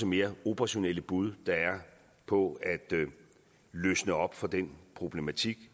mere operationelle bud der er på at løsne op for den problematik